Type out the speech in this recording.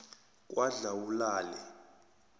kwadlawulale